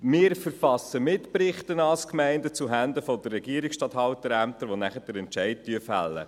Wir verfassen als Gemeinde Mitberichte zuhanden der Regierungsstatthalterämter, die anschliessend den Entscheid fällen.